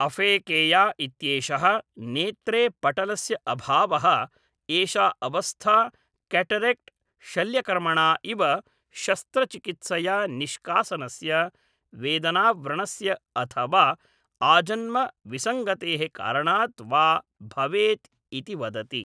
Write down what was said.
aphakia इत्येषः नेत्रे पटलस्य अभावः एषा अवस्था केटरेक्ट् शल्यकर्मणा इव शस्त्रचिकित्सया निष्कासनस्य वेदनाव्रणस्य अथवा आजन्मविसङ्गतेः कारणात् वा भवेत् इति वदति